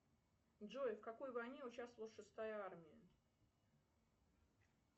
джой в какой войне участвовала шестая армия